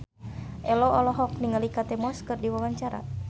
Ello olohok ningali Kate Moss keur diwawancara